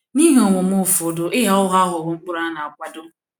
N’ihe omume ụfọdụ ịgha ụgha aghọwo ụkpụrụ a na - akwado.